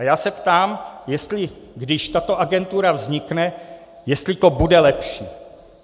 A já se ptám, jestli když tato agentura vznikne, jestli to bude lepší.